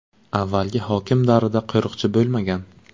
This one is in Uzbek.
Avvalgi hokim davrida qo‘riqchi bo‘lmagan.